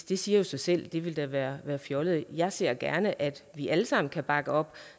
det siger sig selv det ville da være være fjollet jeg ser gerne at vi alle sammen kan bakke op